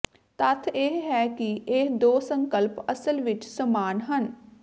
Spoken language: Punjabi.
ਤੱਥ ਇਹ ਹੈ ਕਿ ਇਹ ਦੋ ਸੰਕਲਪ ਅਸਲ ਵਿੱਚ ਸਮਾਨ ਹਨ